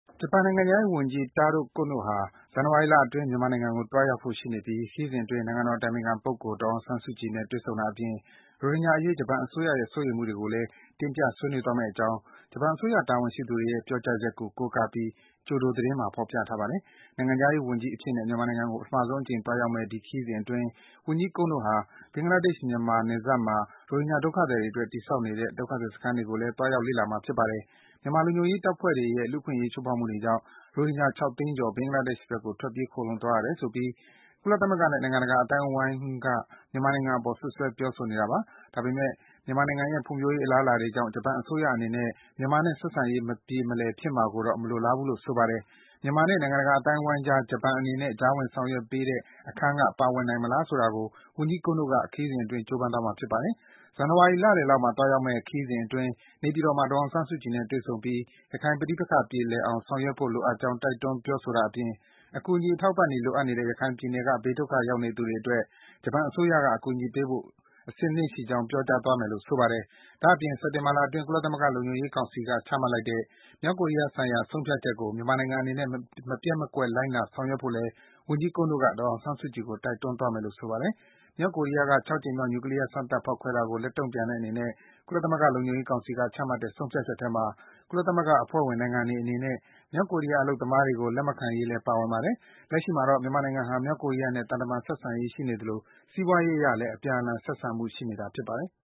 ဂျပန်နိုင်ငံခြားရေးဝန်ကြီး Taro Kono ဟာ ဇန်နဝါရီလအတွင်း မြန်မာနိုင်ငံကို သွားရောက်ဖို့ရှိနေပြီး ခရီးစဉ်အတွင်း နိုင်ငံတော် အတိုင်ပင်ခံပုဂ္ဂိုလ် ဒေါ်အောင်ဆန်းစုကြည်နဲ့ တွေ့ဆုံတာအပြင် ရိုဟင်ဂျာအရေး ဂျပန်အစိုးရရဲ့ စိုးရိမ်မှုတွေကိုလည်း တင်ပြ ဆွေးနွေးသွားမယ့်အကြောင်း ဂျပန်အစိုးရ တာဝန်ရှိသူတွေရဲ့ ပြောကြားချက်ကို ကိုးကားပြီး ကျိုဒိုသတင်းမှာ ဖော်ပြထားပါတယ်။ နိုင်ငံခြားရေးဝန်ကြီးအဖြစ်နဲ့ မြန်မာနိုင်ငံကို ပထမဆုံးအကြိမ် သွားရောက်မယ့် ဒီခရီးစဉ်အတွင်း ဝန်ကြီး Kono ဟာ ဘင်္ဂလားဒေ့ရှ်-မြန်မာ နယ်စပ်မှာ ရိုဟင်ဂျာဒုက္ခသည်တွေအတွက် တည်ဆောက်နေတဲ့ ဒုက္ခသည်တွေစခန်းတွေကိုလည်း သွားရောက်လေ့လာမှာ ဖြစ်ပါတယ်။ မြန်မာလုံခြုံရေးတပ်ဖွဲ့တွေရဲ့ လူ့အခွင့်အရေးချိုးဖောက်မှုတွေကြောင့် ရိုဟင်ဂျာ ၆ သိန်းကျော် ဘင်္ဂလားဒေ့ရှ်ဘက်ကို ထွက်ပြေး ခိုလှုံသွားကြရတယ်ဆိုပြီး ကုလသမဂ္ဂနဲ့ နိုင်ငံတကာ အသိုင်းဝိုင်းက မြန်မာနိုင်ငံအပေါ် စွပ်စွဲ ပြောဆိုနေတာပါ။ ဒါပေမယ့် မြန်မာနိုင်ငံရဲ့ ဖွံ့ဖြိုးရေး အလားအလာတွေကြောင့် ဂျပန်အစိုးရအနေနဲ့ မြန်မာနဲ့ ဆက်ဆံရေး မပြေမလည်ဖြစ်မှာကိုတော့ မလိုလားဘူးလို့ ဆိုပါတယ်။ မြန်မာနဲ့ နိုင်ငံတကာအသိုင်းဝိုင်းကြား ဂျပန်အနေနဲ့ ကြားဝင်ဆောင်ရွက်ပေးတဲ့ အခန်းက ပါဝင်နိုင်မလား ဆိုတာကို ဝန်ကြီး Kono က ခရီးစဉ်အတွင်း ကြိုးပမ်းသွားမှာ ဖြစ်ပါတယ်။ ဇန်နဝါရီလလယ်လောက်မှာ သွားရောက်မယ့် ခရီးစဉ်အတွင်း နေပြည်တော်မှာ ဒေါ်အောင်ဆန်းစုကြည်နဲ့ တွေ့ဆုံပြီး ရခိုင်ပဋိပက္ခကို ပြေလည်အောင် ဆောင်ရွက်ဖို့ လိုအပ်ကြောင်း တိုက်တွန်း ပြောဆိုတာအပြင်၊ အကူအညီ အထောက်အပံ့တွေ လိုအပ်နေတဲ့ ရခိုင်ပြည်နယ်က ဘေးဒုက္ခရောက်နေသူတွေအတွက် ဂျပန်အစိုးရက အကူအညီပေးဖို့ အဆင်သင့်ရှိကြောင်း ပြောကြားသွားမယ်လို့ ဆိုပါတယ်။ ဒါ့အပြင် စက်တင်ဘာလအတွင်း ကုလသမဂ္ဂ လုံခြုံရေးကောင်စီက ချမှတ်လိုက်တဲ့ မြောက်ကိုရီးယား ဆိုင်ရာ ဆုံးဖြတ်ချက်ကို မြန်မာနိုင်ငံအနေနဲ့ မပျက်မကွက် လိုက်နာဆောင်ရွက်ဖို့လည်း ဝန်ကြီး Kono က ဒေါ်အောင်ဆန်းစုကြည်ကို တောင်းဆိုသွားမယ်လို့ ဆိုပါတယ်။ မြောက်ကိုရီးယားက ၆ ကြိမ်မြောက် နျူကလီးယား စမ်းသပ် ဖောက်ခွဲခဲ့တာကို လက်တုံ့ပြန်တဲ့အနေနဲ့ ကုလသမဂ္ဂ လုံခြုံရေးကောင်စီက ချမှတ်ခဲ့တဲ့ ဆုံးဖြတ်ချက်ထဲမှာ ကုလသမဂ္ဂ အဖွဲ့ဝင် နိုင်ငံတွေအနေနဲ့ မြောက်ကိုရီးယား အလုပ်သမားတွေကို လက်မခံရေးလည်း ပါဝင်ပါတယ်။ လက်ရှိမှာတော့ မြန်မာနိုင်ငံဟာ မြောက်ကိုရီးယားနဲ့ သံတမန် ဆက်ဆံရေးရှိနေသလို စီးပွားရေးအရလည်း အပြန်အလှန် ဆက်ဆံမှု ရှိနေတာ ဖြစ်ပါတယ်။